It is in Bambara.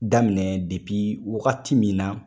Daminɛ depi wagati min na.